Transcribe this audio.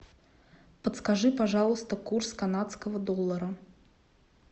подскажи пожалуйста курс канадского доллара